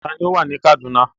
Ta ni ó wà ní Kaduna?